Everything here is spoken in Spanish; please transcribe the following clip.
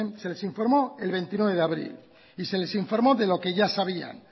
se les informó el veintinueve de abril y se les informó de lo que ya sabían